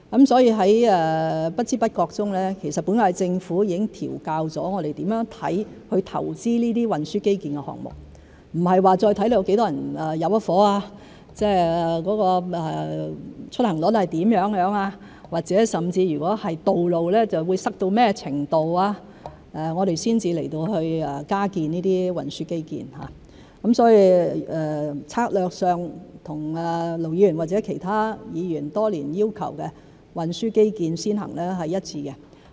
在不知不覺中，本屆政府已經調校了我們如何看待投資這些運輸基建的項目，不再是視乎有多少人入伙、出行率是如何，或者是道路會擠塞到甚麼程度，我們才加建運輸基建，所以在策略上和盧議員或其他議員多年要求的運輸基建先行是一致的。